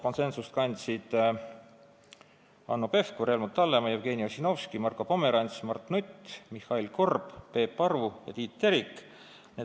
Konsensust kandsid Hanno Pevkur, Helmut Hallemaa, Jevgeni Ossinovski, Marko Pomerants, Mart Nutt, Mihhail Korb, Peep Aru ja Tiit Terik.